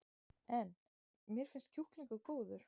En: Mér finnst kjúklingurinn góður?